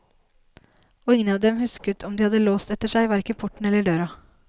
Og ingen av dem husket om de hadde låst etter seg, hverken porten eller døra.